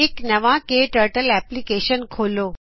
ਇਕ ਨਵਾ ਕੇ ਟਰਟਲ ਐਪਲਿਕੇਸ਼ਨ ਖੋਲੋ